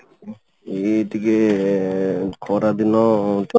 ଏଇ ଟିକେ ଖରା ଦିନ